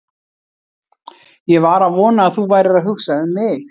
Ég var að vona að þú værir að hugsa um mig!